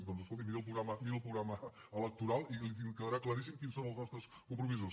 doncs escolti miri el programa electoral i li quedarà claríssim quins són els nostres compromisos